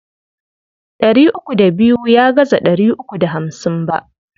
Ɗari uku da biyu ya gaza ɗari uku da hamsin ba.